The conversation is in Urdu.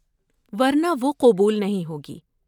ورنہ وہ قبول نہیں ہوگی۔